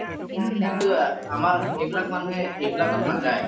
কিন্তু আমাৰ সেইবিলাক মানুহে এইবিলাকত নাযায়।